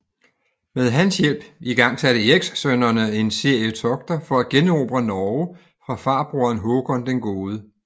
Med hans hjælp igangsatte Erikssønnerne en serie togter for at generobre Norge fra farbroren Håkon den Gode